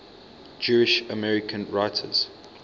jewish american writers